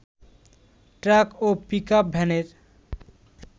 truck ও pickup ভ্যানের